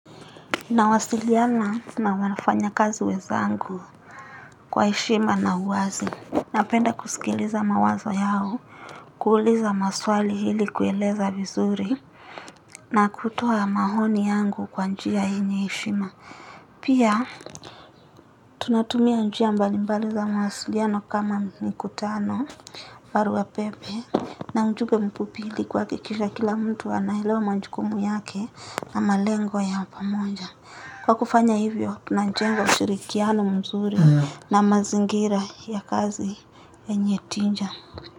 Nawasiliana na wanafanyakazi wenzangu kwa heshima na uwazi. Napenda kusikiliza mawazo yao, kuuliza maswali ili kueleza vizuri na kutoa mahoni yangu kwa njia yenye heshima. Pia tunatumia njia mbalimbali za mawasiliano kama mikutano, baruapepe, na mjube mfupi ili kuhakikisha kila mtu anaelewa manjukumu yake na malengo ya pamonja. Kwa kufanya hivyo, tunanjenga ushirikiano mzuri na mazingira ya kazi yenye tinja.